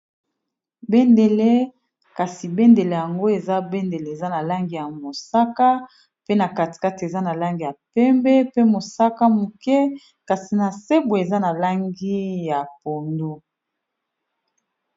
bendele kasi bendele yango eza bendele eza na langi ya mosaka pe na katikate eza na langi ya pembe pe mosaka moke kasi na sebwe eza na langi ya pondo